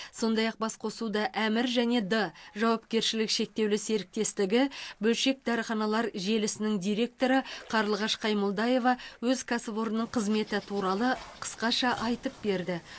сондай ақ басқосуда әмір және д жауапкершілігі шектеулі серіктестігі бөлшек дәріханалар желісінің директоры қарлығаш қаймолдаева өз кәсіпорнының қызметі туралы қысқаша айтып берді